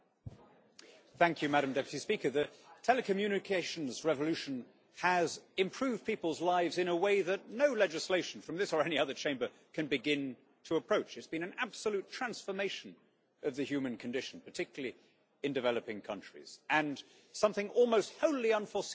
Madam President, the telecommunications revolution has improved people's lives in a way that no legislation from this or any other chamber can begin to approach. There has been an absolute transformation of the human condition, particularly in developing countries, and it is something almost wholly unforeseen by politicians.